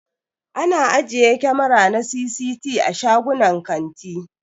Ana ajiye kamara na CCT a shagunan kanti.